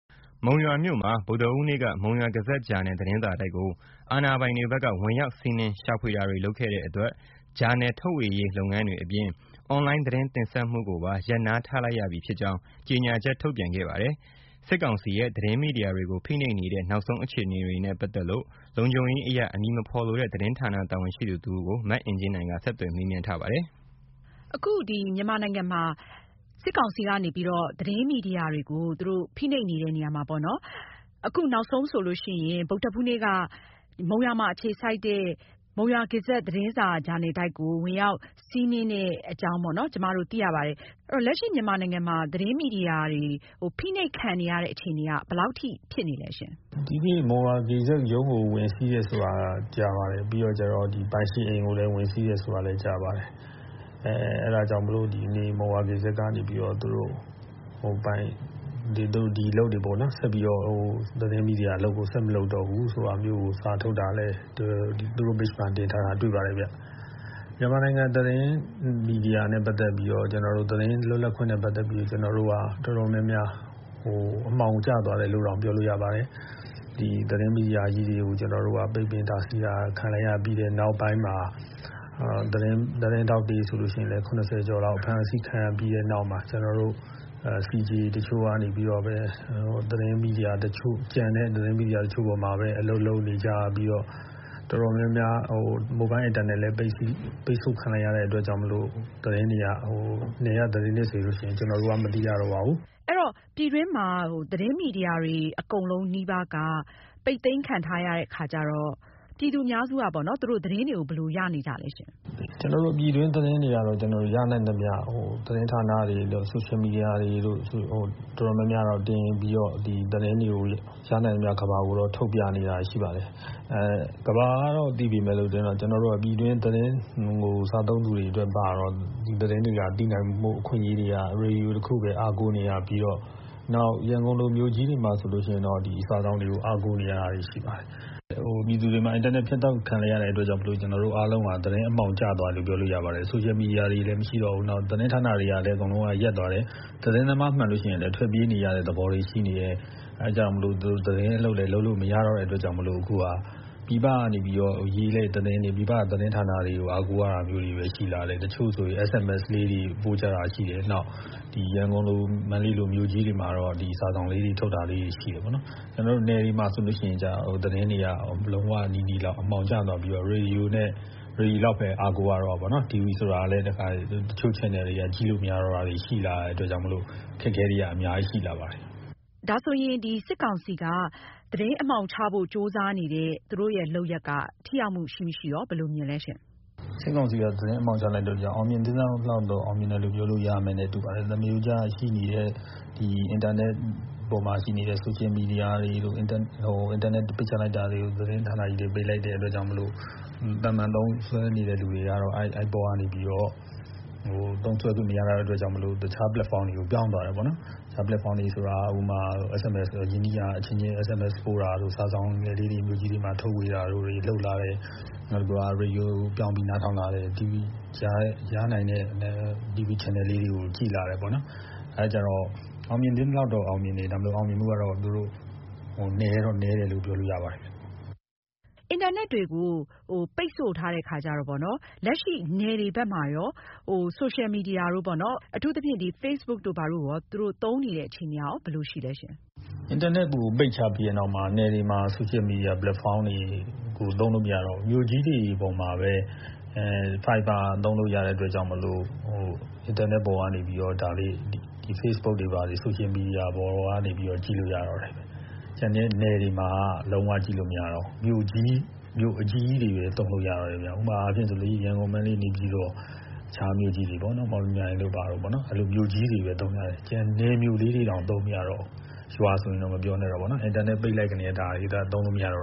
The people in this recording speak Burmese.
မုံရွာမြို့မှာ ဗုဒ္ဓဟူးနေ့က မုံရွာဂေဇက် ဂျာနယ် သတင်းစာတိုက်ကို အာဏာပိုင်တွေဘက်က ဝင်ရောက်စီးနင်း ရှာဖွေတာတွေလုပ်ခဲ့တဲ့အတွက် ဂျာနယ်ထုတ်ဝေရေးလုပ်ငန်းတွေအပြင်၊ အွန်လိုင်းသတင်းတင်ဆက်မှုကိုပါ ရပ်နားထားလိုက်ရပြီဖြစ်ကြောင်း ကြေညာချက်ထုတ်ပြန်ခဲ့ပါတယ်။ စစ်ကောင်စီရဲ့ သတင်းမီဒီယာတွေကို ဖိနှိပ်နေတဲ့ နောက်ဆုံးအခြေအနေတွေနဲ့ ပတ်သက်လို့ လုံခြုံရေးအရ အမည်မဖေါ်လိုတဲ့ သတင်းဌာနတာဝန်ရှိသူတဦးကို မအင်ကြင်းနိုင်က ဆက်သွယ်မေးမြန်းထားပါတယ်။ အခု မြန်မာနိုင်ငံမှာ စစ်ကောင်စီကနေပြီးတော့ သတင်းမီဒီယာတွေကို ဖိနှိပ်နေတဲ့နေရာမှာပေါ့နော် အခုနောက်ဆုံးဆိုရင် ဗုဒ္ဓဟူးနေ့က မုံရွာမှာအခြေစိုက်တဲ့ မုံရွာဂေဇက် ဂျာနယ် သတင်းစာတိုက်ကို ဝင်ရောက်စီးနင်းတဲ့အကြောင်း ကျမတို့ သိရပါတယ်။ အဲဒီတော့ လက်ရှိမြန်မာနိုင်ငံမှာ သတင်းမီဒီယာတွေ ဖိနှိပ်ခံနေရတာ ဘယ်လောက်အထိ ဖြစ်နေသလဲရှင့်။ ဒီနေ့ မုံရွာဂေဇက် ရုံးကို ဝင်စီးတယ်ဆိုတာ ကြားပါတယ်။ ပြီးတော့ ပိုင်ရှင်ကိုလည်း ဝင်စီးတယ်ဆိုတာလည်း ကြားပါတယ်။ ပြီးတော့ ပိုင်ရှင်အိမ်ကိုလည်း ဝင်စီးတယ်ဆိုတာလည်း ကြားပါတယ်။ အဲဒါကြောင့်မို့လို့ မုံရွာဂေဇက်ကနေပြီးတော့ ဒီအလုပ်တွေပေါ့နော် သတင်းမီဒီယာတွေ ဆက်မလုပ်တော့ဘူးဆိုတာမျိုး စာထုတ်တာလည်း သူတို့ Page မှာတင်ထားတာလည်း တွေ့ပါတယ်ခင်ဗျ။ မြန်မာနိုင်ငံသတင်းမီဒီယာနဲ့ ပတ်သက်ပြီးတော့ ကျနော်တို့ သတင်းလွတ်လပ်ခွင့်နဲ့ ပတ်သက်ပြီးတော့ ကျနော်တို့ တော်တော်များများ အမှောင်ကျသွားတယ်လို့ ပြောလို့ရပါတယ်။ သတင်းမီဒီယာကြီးတွေကို ပိတ်ပင်တားဆီးတာ ခံလိုက်ရပြီးတဲ့နောက်မှာ သတင်းထောက်တွေဆိုရင်လည်း ၇၀ ကျော်လောက် အဖမ်းအဆီးခံပြီးတဲ့နောက်မှာ ကျနော်တို့ CJ တချို့ကနေပဲ ကျန်တဲ့ သတင်းမီဒီယာတချို့ပေါ်မှာပဲ အလုပ်လုပ်နေကြပြီးတော့ တော်တော်များများ မိုဘိုင်းအင်တာနက်လည်း ပိတ်ဆို့ခံလိုက်ရတဲ့အတွက်ကြောင့်မို့ သတင်းတွေက နယ်က သတင်းတွေဆိုရင် ကျနော်တို့ မသိရတော့ပါဘူး။ အဲဒီတော့ ပြည်တွင်းမှာ သတင်းမီဒီယာတွေ အကုန်လုံးနီးပါးက ပိတ်သိမ်းခံထားရတဲ့အခါကျတော့ ပြည်သူအများစုက သူတို့ သတင်းတွေကို ဘယ်လိုရနေကြသလဲရှင့်။ ကျနော်တို့ ပြည်တွင်းသတင်းတွေကတော့ ကျနော်တို့ ရနိုင်သမျှ သတင်းဌာနတွေတို့၊ Social media တွေတို့ တော်တော်များများ တင်ပြီးတော့ သတင်းတွေကို ရနိုင်သမျှ ကမ္ဘာကို ထုတ်ပြတာရှိပါတယ်။ ကမ္ဘာကတော့ သိပေမယ့်လို့ ပြည်တွင်းသတင်းတွေကို အထဲက လူတွေ ဒီသတင်းတွေသိနိုင်ဖို့ ရေဒီယိုတခုပဲ အားကိုးနေရပြီးတော့ နောက် ရန်ကုန်လို မြို့ကြီးတွေမှာဆိုရင်လည်း ဒီစာစောင်တွေကို အားကိုးနေရတာရှိပါတယ်။ ပြည်သူတွေမှာ အင်တာနက်ဖြတ်တောက်ခံလိုက်ရတဲ့အတွက် ကျနော်တို့အားလုံးဟာ သတင်းအမှောင်ကျသွားတယ်လို့ ပြောလို့ရပါတယ်။ Social Media တွေလည်း မရှိတော့ဘူး သတင်းဌာနတွေလည်း ရပ်သွားတယ်။ သတင်းသမား မှန်လို့ရှိရင်လည်း ထွက်ပြေးနေရတဲ့သဘောလည်းရှိနေလို့ သတင်းအလုပ်လည်း လုပ်လို့မရတော့တဲ့အခါမို့လို့ ပြည်ပကသတင်းတွေ ရေးတဲ့သတင်းတွေကိုပဲ အားကိုးရတာရှိလာတယ်။ တချို့ဆိုရင် SMS လေးတွေ ပို့တာရှိတယ်။ ရန်ကုန်၊ မန္တလေးလို မြို့ကြီးတွေမှာတော့ ဒီစာစောင်လေးတွေ ထုတ်တာတွေ ရှိတယ်ပေါေ့နာ်။ ကျနော်တို့ နယ်မှာဆိုရင် သတင်းတွေက လုံးဝနီးနီးလောက် အမှောင်ကျသွားပြီးတော့ ရေဒီယိုလောက်ပဲ အားကိုးရတာပေါ့နော်။ TV ဆိုတာလည်း တချို့ ချာနယ်တွေလည်း ကြည့်လို့မရတော့တာတွေ ရှိလာတာမို့ အခက်အခဲတွေက ရှိလာပါတယ်။ ဒါဆိုရင် စစ်ကောင်စီက သတင်းအမှောင်ချဖို့ ကြိုးစားနေတဲ့ သူတို့ လုပ်ရပ်က ထိရောက်မှု ရှိမရှိ ဘယ်လိုမြင်သလဲရှင့်။ စစ်ကောင်စီက သတင်းအမှောင်ချတာကြောင့် အောင်မြင်သင့်သလောက် အောင်မြင်တယ်လို့ ပြောလို့ရပါတယ်။ သမာရိုးကျရှိနေတဲ့ အင်တာနက်ပေါ်မှာရှိနေတဲ့ social media တွေ ပိတ်ချလိုက်တာတွေ ၊ သတင်းဌာနကြီးတွေ ပိတ်လိုက်တဲ့အတွက်ကြောင့်မို့ သာမာန်သုံးစွဲနေသူတွေကတော့ အဲဒီအပေါ်ကနေပြီးတော့သုံးလို့မရတာကြောင့် တခြား ပလက်ဖောင်းတွေကို ပြောင်းသွားတယ်ပေါ့နော်။ တခြား ပလက်ဖောင်းတွေဆိုတာက တခြားရင်းနှီးရာအချင်းချင်း SMS တို့ပို့တာတွေ၊ စာစောင်တွေထုတ်ဝေတာတွေ လုပ်လာတယ်။ နောက်တခုက ရေဒီယိုတွေပြောင်းပြီးနားထောင်တာတွေ လုပ်လာတယ်။ ရနိုင်တဲ့ TV ချာနယ်တွေကို ကြည့်လာတယ်ပေါ့နော် ။ အဲဒါကြောင့် အောင်မြင်သင့်သလောက် အောင်မြင်တယ်၊ ဒါပေမယ့် အောင်မြင်မှု နည်းတယ်လို့ ပြောလို့ရပါတယ်ခင်ဗျ။ အင်တာနက်တွေကို ပိတ်ဆို့ထားတဲ့အခါကျတော့ လက်ရှိ နယ်တွေဘက်မှာရော social media တို့က အထူးသဖြင့် facebook တို့ဘာတို့က သူတို့ သုံးနေတဲ့ အခြေအနေကရော ဘယ်လိုရှိသလဲရှင့်။ အင်တာနက်တွေကို ပိတ်ချရင်တောင်မှ နယ်တွေမှာဆိုရင် social media ပလက်ဖောင်းတွေ သုံးလို့မရတော့ဘူး။ မြို့ကြီးပေါ်မှာပဲ သုံးလို့ရတဲ့အတွက်ကြောင့် အင်တာနက်ပေါ်ကနေ facebook တွေဘာတွေ social media ပေါ်ကနေ ကြည့်လို့ရတော့တယ်။ ကျန်တဲ့ နယ်တွေမှာလုံး၀ ကြည့်လို့ မရတော့ဘူး မြို့အကြီးကြီးတွေပဲ သုံးလို့ရတော့တယ်ခင်ဗျ။ ဥပမာအားဖြင့် ရန်ကုန်၊ မန္တလေး ၊ နေပြည်တော် အခြားမြို့ကြီးတွေပေ့ါနော် မော်လမြိုင်တို့ ဘာတို့ အဲလိုမြို့ကြီးတွေပဲ သုံးကြတယ်။ ကျန်တဲ့ မြို့လေးတွေတောင် သုံးမရဘူး ရွာဆိုရင်တော့ မပြောနဲ့တော့ပေါ့နော် အင်တာနက်ပိတ်လိုက်တာနဲ့ ဒါတွေသုံးလို့မရတော့